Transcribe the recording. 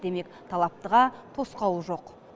демек талаптыға тосқауыл жоқ